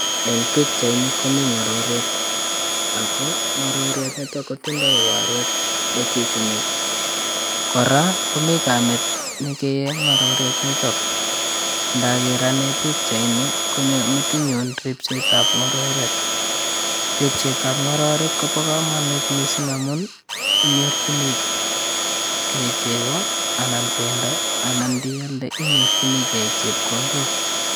Eng pichai ni komi ngororiet ako ngororiet nitok kotindoi waruet ne chuchuni kora komi kamat ne kei ngororet nitok. Ngakeer ane picha ni ko nyo metinyu ripsetab ngororek. ripsetab ngororek ko bo kamanut missing amu intorjinigei cheko anan bendo anan ndealde inyorjinigei chepkondok.